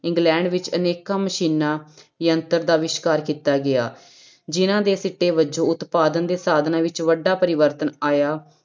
England ਵਿੱਚ ਅਨੇਕਾਂ ਮਸ਼ੀਨਾਂ ਯੰਤਰ ਦਾ ਅਵਿਸ਼ਕਾਰ ਕੀਤਾ ਗਿਆ, ਜਿਹਨਾਂ ਦੇ ਸਿੱਟੇੇ ਵਜੋਂ ਉਤਪਾਦਨ ਦੇ ਸਾਧਨਾਂ ਵਿੱਚ ਵੱਡਾ ਪਰਿਵਰਤਨ ਆਇਆ।